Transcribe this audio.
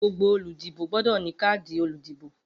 Gbogbo oludibo gbọdọ ni kaadi oludibo.